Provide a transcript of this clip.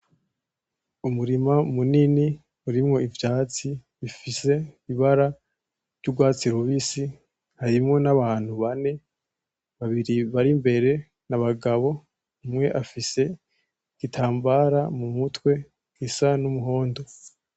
Umurima munini urimwo ivyatsi bifise ibara ryugwatsi rubisi harimwo n’abantu bane babiri barimbere n’abagabo umwe afise igitambara mumutwe gisa n’umuhondo.